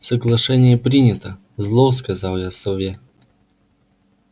соглашение принято зло сказал я сове